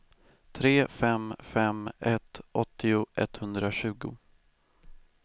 tre fem fem ett åttio etthundratjugo